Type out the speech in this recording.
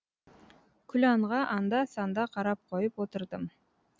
күләнға анда санда қарап қойып отырдым